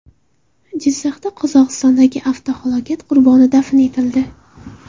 Jizzaxda Qozog‘istondagi avtohalokat qurboni dafn etildi.